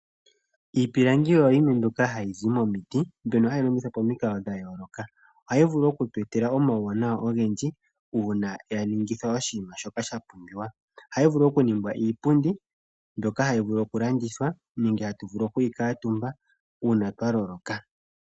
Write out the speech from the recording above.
Iipilangi oyo yimwe mbyoka hayizi momiti mbyono hayi longithwa paminkalo dha yoloka, ohayi vulu oku twetela omawu wananwa ongendji una yaningithwa oshima shoka sha pumbiwa, ohayi vulu oku ningwa iipundi mbyoka hayi vulu oku landithwa nenge atu vulu okwi katumba una twaloloka.